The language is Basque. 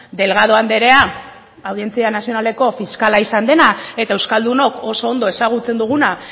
delgado andrea audientzia nazionaleko fiskala izan dena eta euskaldunok oso ondo ezagutzen duguna